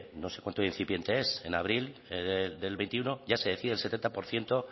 no sé cuánto de incipiente es en abril el veintiuno ya se decía el setenta por ciento